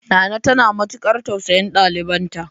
Nana tana matukar tausayin dalibanta.